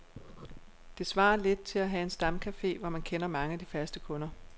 Det svarer lidt til at have en stamcafé, hvor man kender mange af de faste kunder.